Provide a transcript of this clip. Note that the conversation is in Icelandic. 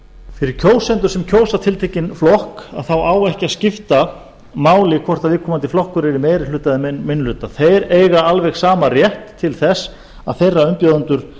fyrir kjósendur sem kjósa tiltekinn flokk þá á ekki að skipta máli hvort viðkomandi flokkur er í meiri hluta eða minni hluta þeir eiga alveg sama rétt til að þeirra umbjóðendur